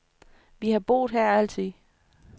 Vi har boet her altid.